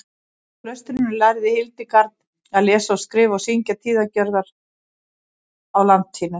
í klaustrinu lærði hildegard að lesa og skrifa og syngja tíðagjörðina á latínu